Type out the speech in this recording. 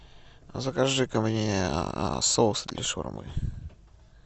закажи ка мне соус для шаурмы